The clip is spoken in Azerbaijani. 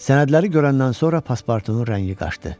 Sənədləri görəndən sonra Paspartunun rəngi qaçdı.